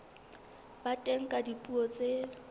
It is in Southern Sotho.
ba teng ka dipuo tse